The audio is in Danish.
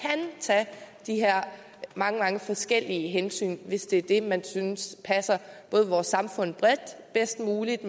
tage de her mange mange forskellige hensyn hvis det er det man synes passer både vores samfund bredt og bedst muligt